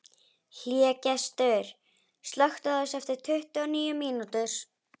Hlégestur, slökktu á þessu eftir tuttugu og níu mínútur.